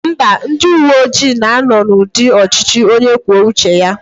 Mba, ndị uwe ojii na-anọ n'ụdị ọchịchị onye kwuo uche ya